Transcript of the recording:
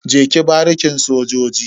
Je ki barikin sojoji.